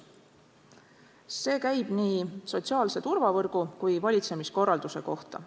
See käib nii sotsiaalse turvavõrgu kui valitsemiskorralduse kohta.